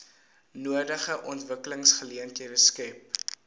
nodige ontwikkelingsgeleenthede skep